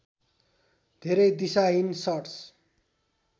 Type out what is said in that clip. धेरै दिशाहीन सट्स